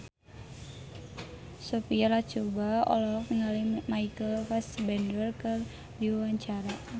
Sophia Latjuba olohok ningali Michael Fassbender keur diwawancara